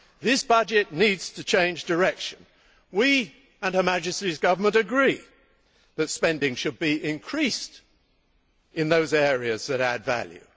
This budget needs to change direction. We and Her Majesty's Government agree that spending should be increased in those areas that add value.